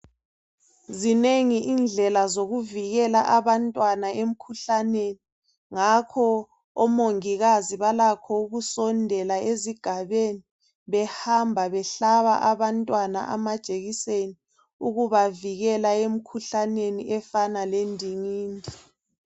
Zinengi indlela zokuvikela abantwana emkhuhlaneni ngakho omongikazi balakho ukusondela ezigabeni behamba behlaba abantwana amajekiseni ukubavikela emkhuhlaneni efana lendingindi.